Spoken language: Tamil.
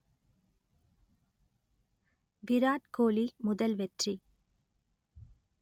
விராட் கோலி முதல் வெற்றி